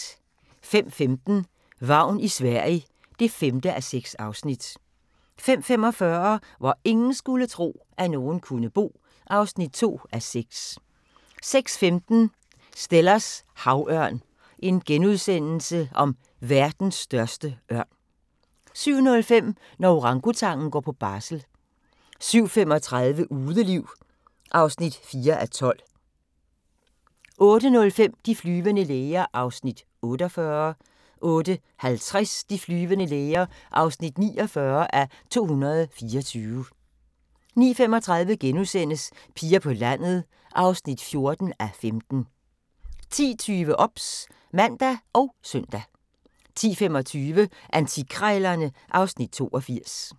05:15: Vagn i Sverige (5:6) 05:45: Hvor ingen skulle tro, at nogen kunne bo (2:6) 06:15: Stellers havørn – verdens største ørn * 07:05: Når orangutangen går på barsel 07:35: Udeliv (4:12) 08:05: De flyvende læger (48:224) 08:50: De flyvende læger (49:224) 09:35: Piger på landet (14:15)* 10:20: OBS (man og søn) 10:25: Antikkrejlerne (Afs. 82)